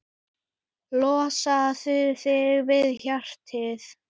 Losaðu þig við hratið.